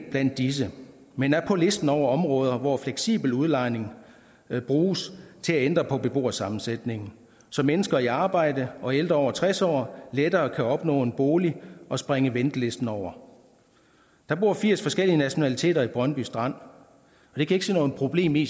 disse men er på listen over områder hvor fleksibel udlejning bruges til at ændre på beboersammensætningen så mennesker i arbejde og ældre over tres år lettere kan opnå en bolig og springe ventelisten over der bor firs forskellige nationaliteter i brøndby strand og ikke se noget problem i